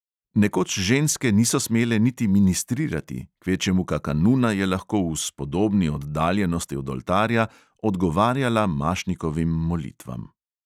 Nekoč ženske niso smele niti ministrirati, kvečjemu kaka nuna je lahko v spodobni oddaljenosti od oltarja odgovarjala mašnikovim molitvam.